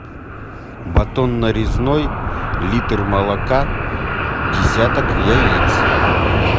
батон нарезной литр молока десяток яиц